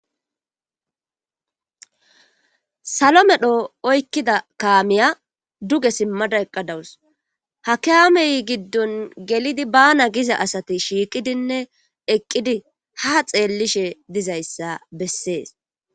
Salo medho oykkida kaamiya duge simmada eqqadawus ha kaamey giddon gelidi bana giza asati shiiqidinne eqqidi ha xeellishe dizayssa bessees.